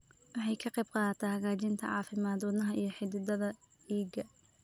Waxay ka qaybqaadataa hagaajinta caafimaadka wadnaha iyo xididdada dhiigga.